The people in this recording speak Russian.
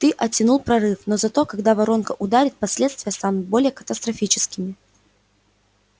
ты оттянул прорыв но зато когда воронка ударит последствия станут более катастрофическими